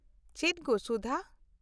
ᱪᱮᱫ ᱜᱳ, ᱥᱩᱫᱷᱟ !